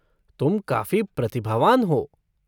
तुम काफ़ी प्रतिभावान हो।